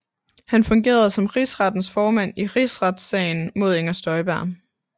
Han fungerede som rigsrettens formand i Rigsretssagen mod Inger Støjberg